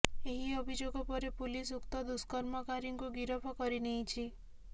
ଏହି ଅଭିଯୋଗ ପରେ ପୁଲିସ ଉକ୍ତ ଦୁଷ୍କର୍ମକାରୀକୁ ଗିରଫ କରି ନେଇଛି